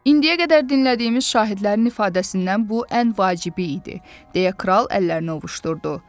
İndiyə qədər dinlədiyimiz şahidlərin ifadəsindən bu ən vacibi idi, deyə kral əllərini ovuşdurdu.